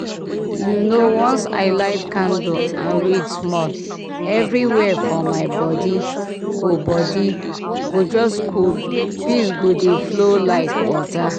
you know once i light candle and read small everywhere for my body go body go just cool peace go dey flow like water.